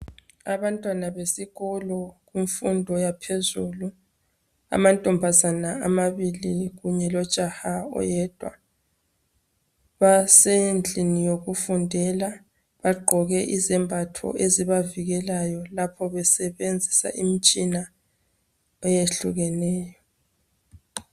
Abantwana besikolo bemfundo yaphezulu amantombazana amabili kunye lojaha oyedwa basendlini yokufundela bagqoke izembatho ezibavikelayo lapho besebenzisa imitshina eyehlukeneyo